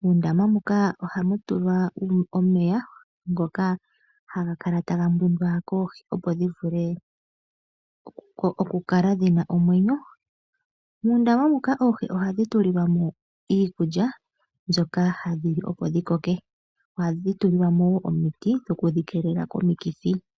Muundama muka ohamu tulwa omeya ngoka haga kala taga mbwindwa koohi, opo dhi vule okukala dhi na omwenyo. Muundaama muka oohi ohadhi tulilwa mo iikulya mbyoka hadhi li, opo dhi koke. Ohadhi tulilwa mo omiti dhokudhi keelela komikithi.